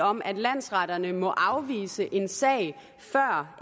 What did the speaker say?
om at landsretterne må afvise en sag før